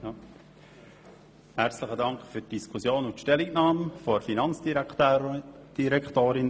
Herzlichen Dank für die Diskussion sowie für die Stellungnahme der Finanzdirektorin.